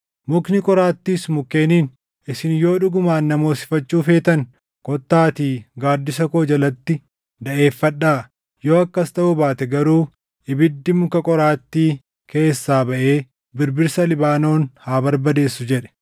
“Mukni qoraattiis mukkeeniin, ‘Isin yoo dhugumaan na moosifachuu feetan, kottaatii gaaddisa koo jalatti daʼeeffadhaa; yoo akkas taʼuu baate garuu ibiddi muka qoraattii keessaa baʼee birbirsa Libaanoon haa barbadeessu!’ jedhe.